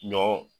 Ɲɔ